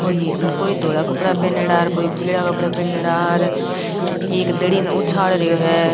कोई कोई धोला कपडा पहिनीडा है और कोई पीला कपडा पहिनड़ा है और एक धड़ी ने उछाल रियो है।